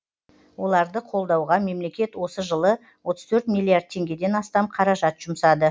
оларды қолдауға мемлекет осы жылы отыз төрт миллиард теңгеден астам қаражат жұмсады